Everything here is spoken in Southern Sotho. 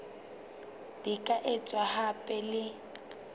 di ka etswa hape le